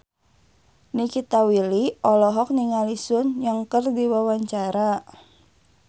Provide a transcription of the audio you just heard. Nikita Willy olohok ningali Sun Yang keur diwawancara